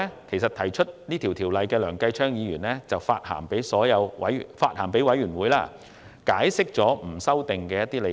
其後，提出《條例草案》的梁繼昌議員曾向法案委員會致函，解釋不作修訂的一些理據。